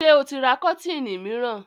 Ṣé ó ti ra kọ́tíìnì mìíràn?